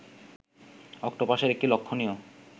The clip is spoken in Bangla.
অক্টোপাসের একটি লক্ষণীয়